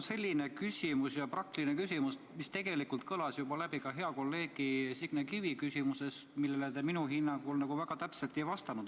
Mul on selline praktiline küsimus, mis tegelikult sisaldus juba ka hea kolleegi Signe Kivi küsimuses, millele te minu hinnangul väga täpselt ei vastanud.